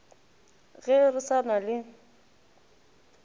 ge re sa na le